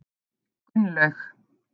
Gunnlaug